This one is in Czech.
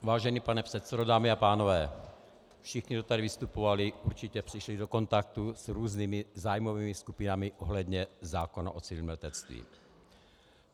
Vážený pane předsedo, dámy a pánové, všichni, kdo tady vystupovali, určitě přišli do kontaktu s různými zájmovými skupinami ohledně zákona o civilním letectví.